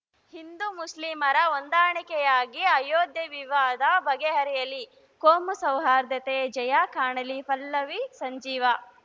ಹಿಂದು ಮುಸ್ಲಿಮರ ಹೊಂದಾಣಿಕೆಯಾಗಿ ಅಯೋಧ್ಯೆ ವಿವಾದ ಬಗೆಹರಿಯಲಿ ಕೋಮು ಸೌಹಾರ್ಧತೆಯು ಜಯ ಕಾಣಲಿ ಪಲ್ಲವಿ ಸಂಜೀವ